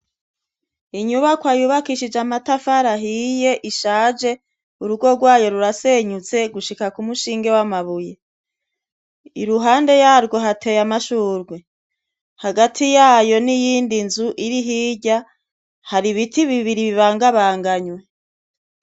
Inyubako yubakishije amatafari ahiye ishaje urugo rwayo rurasenyutse gushika ku mushinge w'amabuye iruhande yarwo hateye amashurwe hagati yayo n'iyindi nzu iri hirya hari biti bibiri bibangabanganywe.